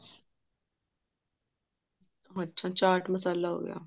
ਅੱਛਾ ਚਾਟ ਮਸਾਲਾ ਹੋਗਿਆ